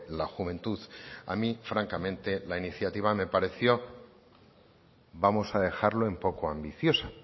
la juventud a mi francamente la iniciativa me pareció vamos a dejarlo en poco ambiciosa